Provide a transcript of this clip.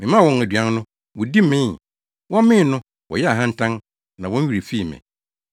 Memaa wɔn aduan no, wodi mee; wɔmee no, wɔyɛɛ ahantan; na wɔn werɛ fii me.